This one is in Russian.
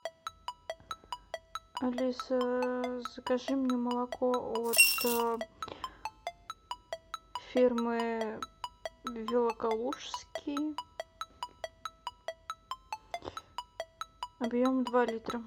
алиса закажи мне молоко от фирмы великолукский объем два литра